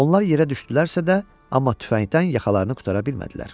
Onlar yerə düşdülərsə də, amma tüfəngdən yaxalarını qurtara bilmədilər.